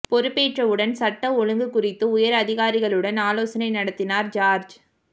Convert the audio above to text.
பொறுப்பேற்றவுடன் சட்டம் ஒழுங்கு குறித்து உயர் அதிகாரிகளுடன் ஆலோசனை நடத்தினார் ஜார்ஜ்